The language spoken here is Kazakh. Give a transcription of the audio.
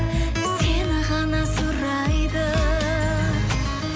сені ғана сұрайды